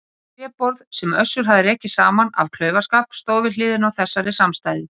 Tréborð, sem Össur hafði rekið saman af klaufaskap stóð við hliðina á þessari samstæðu.